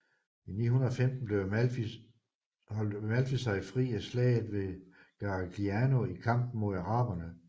I 915 holdt Amalfi sig fri af Slaget ved Garigliano i kampen mod araberne